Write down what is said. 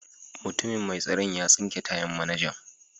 Mutumin mai tsaron ya tsinke tayan manajan.